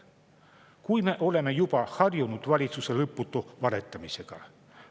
Kuid me oleme juba harjunud valitsuse lõputu valetamisega.